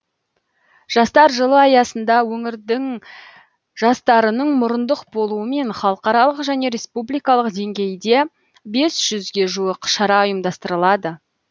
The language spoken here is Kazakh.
жастар жылы аясында өңір жастарының мұрындық болуымен халықаралық және республикалық деңгейде бес жүзге жуық шара ұйымдастырылады